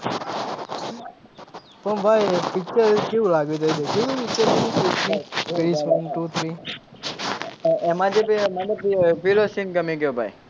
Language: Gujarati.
પણ ભાઈ picture કેવું લાગ્યું તે દેખ્યું તું picture Krrish one two three એમાં જે પે મને પેલો seen ગમી ગયો ભાઈ